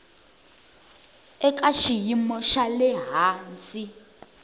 eka xiyimo xa le hansi